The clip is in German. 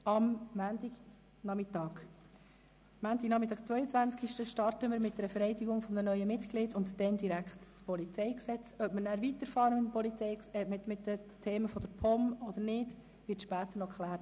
Am Montagnachmittag, 22. 01. 2018, starten wir mit der Vereidigung eines neuen Mitglieds, und danach beginnen wir direkt mit den Beratungen des PolG. Ob wir danach mit den Themen der POM weiterfahren, wird später noch geklärt.